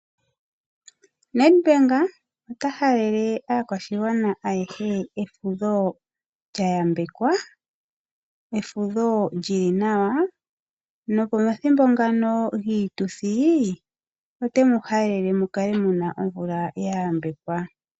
Nedbank ota halele aakwashigwana aehe efudho lyayambekwa, efudho lyili nawa. Nopomathimbo ngano giituthi otemu halele muka muna omvula yayambekwa.